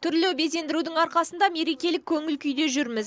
түрлі безендірудің арқасында мерекелік көңіл күйде жүрміз